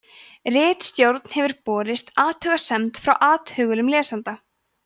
ritstjórn hefur borist athugasemd frá athugulum lesanda